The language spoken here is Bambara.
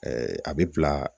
a bɛ bila